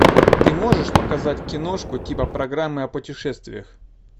ты можешь показать киношку типа программы о путешествиях